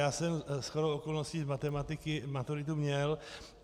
Já jsem shodou okolností z matematiky maturitu měl.